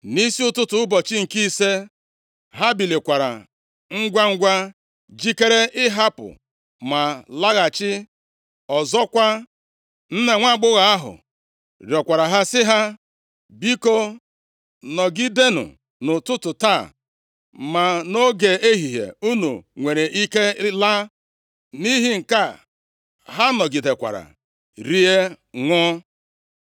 Nʼisi ụtụtụ ụbọchị nke ise, ha bilikwara ngwangwa jikere ịhapụ ma ịlaghachi. Ọzọkwa, nna nwaagbọghọ ahụ rịọkwara ha sị ha, “Biko, nọgidenụ nʼụtụtụ taa, ma nʼoge ehihie unu nwere ike laa.” Nʼihi nke a, ha nọgidekwara rie, ṅụọ.